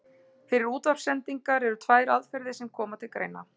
Fyrir útvarpssendingar eru tvær aðferðir sem koma til greina.